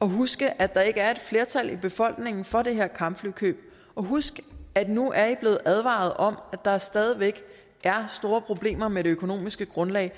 og huske at der ikke er et flertal i befolkningen for det her kampflykøb husk at nu er i blevet advaret om at der stadig væk er store problemer med det økonomiske grundlag